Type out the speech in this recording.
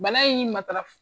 Bana in matara